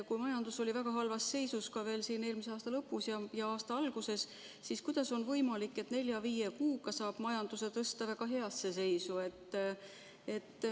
Kui majandus oli väga halvas seisus ka veel eelmise aasta lõpus ja selle aasta alguses, siis kuidas on võimalik, et nelja-viie kuuga saab majanduse tuua väga heasse seisu?